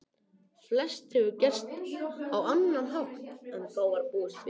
Flest hefur gerst á annan hátt en þá var búist við.